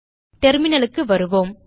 terminalக்கு வருவோம்